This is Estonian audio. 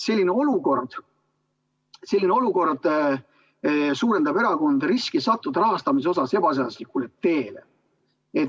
Selline olukord suurendab erakondade riski sattuda rahastamises ebaseaduslikule teele.